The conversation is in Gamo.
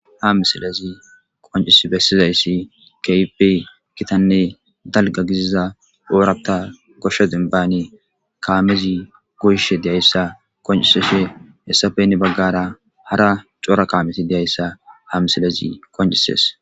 Ha misilezi qoncis bessizayssi keype kitanne dalga giziza oorapta koshsho dinbaani kaamezi goyishe deyayssa qoncisishe hessafe hinni baggara hara coora kaameti deyayssa ha misilezi qoncises.